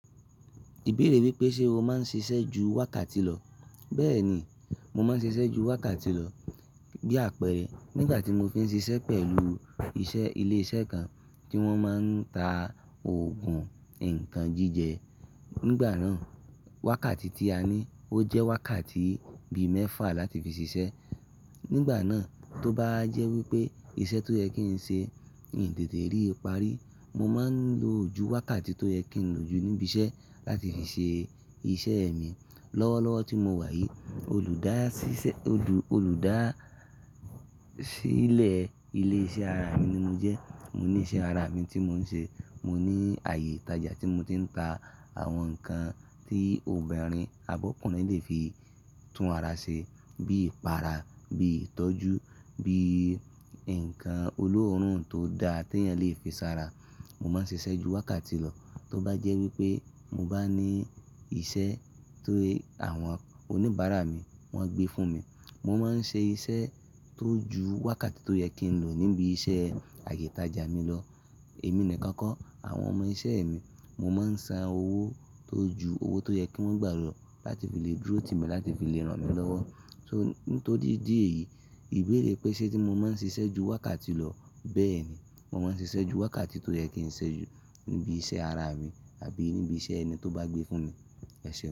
Ìbéèrè wípé ṣe mo máa ń ṣiṣẹ́ ju wákàtí lọ. Bẹ́ẹ̀ ni, mo máa ń ṣiṣẹ́ ju wákàtí lọ. Bí àpẹẹrẹ nígbà tí mo fi ń ṣiṣẹ́ pẹ̀lú iṣẹ́ ilé iṣẹ́ kan tí wón máa ń ta òògùn nnkan jíjẹ. Nígbà náà, wákàtí tí a ní ó jẹ́ wákàtí bi mẹ́fà láti fi ṣiṣẹ́. Nígbà náà, tó bá jẹ́ wípé iṣẹ́ tó yẹ kí n ṣe nì tètè rí ipari, mo máa ń lo ju wákàtí tó yẹ kí n lo jù níbi iṣẹ́ láti fi ṣe iṣẹ́ mi. Lọ́wọ́lọ́wọ́ tí mo wà yìí, olùdásílẹ̀ ilé iṣẹ́ ara mi ni mo jẹ́. Mo ní iṣẹ́ ara mi tí mo ń ṣe. Mo ní ààyè ìtajà tí mo ti ń ta àwọn nǹkan tí obìnrin abi ọkùnrin le fi tún ara ṣe bí ipara, bí ìtọ́jú, bí nǹkan olóòórùn tó da tí èèyàn lè fi sára. Mo máa ń ṣiṣẹ́ ju wákàtí lọ. Tó bá jẹ́ wípé mo bá ní iṣẹ́ tó àwọn oníbàárà mi wọ́n gbé fún mi, mo máa ń ṣe iṣẹ́ tó ju wákàtí tó yẹ kí n lo níbi iṣẹ́ ààyè ìtajà mi lọ. Èmi nìkan kọ́, àwọn ọmọ iṣẹ́ mi mo máa ń san owó tó ju owó tó yẹ kí wọ́n gbà lọ láti fi lè dúró ti mi láti fi lè ràn mí lọ́wọ́. So, nítorí idi yìí, ìbéèrè pé ṣe tí mo máa ń ṣiṣẹ́ ju wákàtí lọ. Bẹ́ẹ̀ ni, mo máa ń ṣiṣẹ́ ju wákàtí tó yẹ kí n ṣe jù níbi iṣẹ́ ara mi àbí níbi iṣẹ́ ẹni tó bá gbé fún mi. Ẹ ṣé.